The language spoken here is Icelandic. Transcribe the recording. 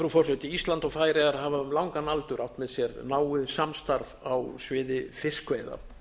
frú forseti ísland og færeyjar hafa um langan aldur átt með sér náið samstarf á sviði fiskveiða